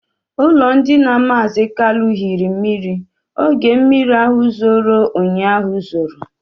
Ụlọndina mazi Kalu hiri mmiri oge mmiri ahụ zoro ụnyaahụ zoro